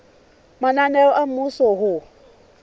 mananeo a mmuso a ho